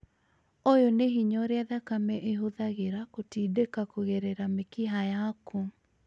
ũyũ nĩ hinya ũrĩa thakame ĩhũthagĩra gũtindika kũgerera mĩkiha yaku